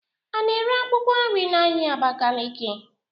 Ana ere akwụkwọ nri n'ahịa Abakaliki?